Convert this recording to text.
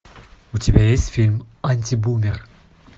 у тебя есть фильм антибумер